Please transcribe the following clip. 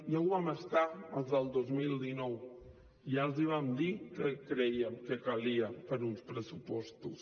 ja ho vam estar als del dos mil dinou ja els hi vam dir què creiem que calia per a uns pressupostos